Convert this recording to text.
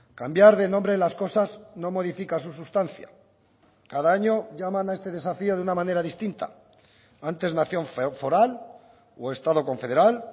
cambiar de nombre las cosas no modifica su sustancia cada año llaman a este desafío de una manera distinta antes nación foral o estado confederal